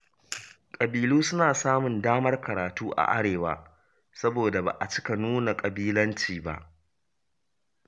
Ƙabilu suna samun damar karatu a Arewa, saboda ba a cika nuna ƙabilanci ba.